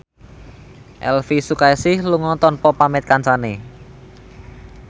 Elvy Sukaesih lunga tanpa pamit kancane